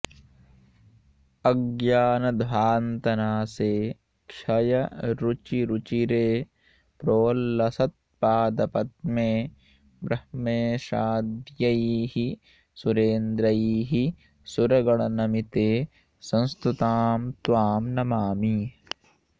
अज्ञानध्वान्तनाशे क्षयरुचिरुचिरे प्रोल्लसत्पादपद्मे ब्रह्मेशाद्यैः सुरेन्द्रैः सुरगणनमिते संस्तुतां त्वां नमामि